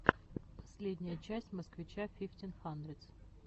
последняя часть москвича фифтин хандридс